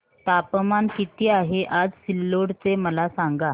तापमान किती आहे आज सिल्लोड चे मला सांगा